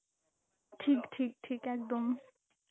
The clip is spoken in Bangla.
ঠিক ঠিক ঠিক একদম.